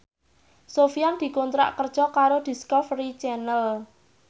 Sofyan dikontrak kerja karo Discovery Channel